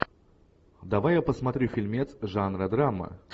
давай я посмотрю фильмец жанра драма